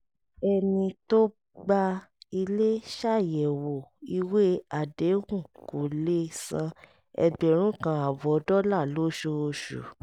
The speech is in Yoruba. ẹni tó gba ilé ṣàyẹ̀wò ìwé àdéhùn kó lè san ẹgbẹ̀rún kan ààbọ̀ dọ́là lóṣooṣù